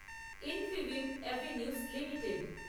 Infibeam Avenues limited